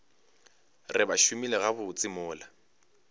re ba šomile gabotse mola